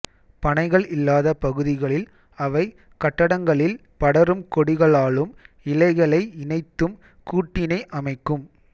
பனைகள் இல்லாத பகுதிகளில் அவை கட்டடங்களில் படரும் கொடிகளாலும் இலைகளை இணைத்தும் கூட்டினை அமைக்கும்